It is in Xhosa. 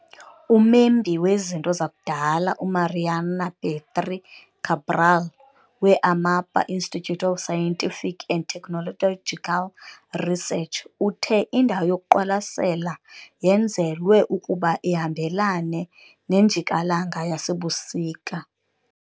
Umembi wezinto zakudala uMariana Petry Cabral we-Amapa Institute of Scientific and Technological Research uthe indawo yokuqwalasela yenzelwe ukuba ihambelane nenjikalanga yasebusika.